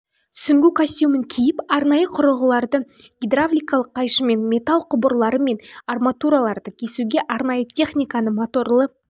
сүңгу костюмын киіп арнайы құрығыларды гидравликалық қайшымен металл құбырлары мен арматураларды кесуге арнайы техниканы моторлы